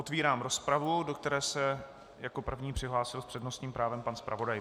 Otevírám rozpravu, do které se jako první přihlásil s přednostním právem pan zpravodaj.